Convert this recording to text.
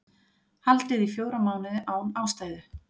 Haldið í fjóra mánuði án ástæðu